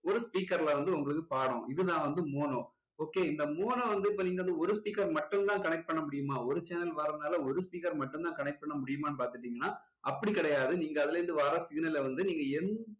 ஒரு speaker ல வந்து உங்களுக்கு பாடும் இது தான் வந்து mono okay இந்த mono வந்து இப்போ நீங்க வந்து ஒரு speaker மட்டும் தான் connect பண்ண முடியுமா ஒரு channel வர்றதுனால ஒரு speaker மட்டும் தான் connect பண்ண முடியுமா பாத்துக்கிட்டீங்கன்னா அப்படி கிடையாது நீங்க அதுல இருந்து வர்ற signal ல வந்து நீங்க எந்த